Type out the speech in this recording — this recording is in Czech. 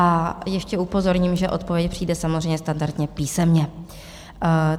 A ještě upozorním, že odpověď přijde samozřejmě standardně písemně.